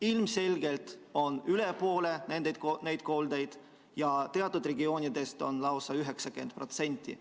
Ilmselgelt on töökohakoldeid üle poole, teatud regioonides lausa 90%.